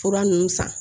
Fura ninnu san